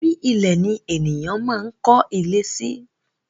Orí ilẹ̀ ni ènìyàn máa ń kólé sí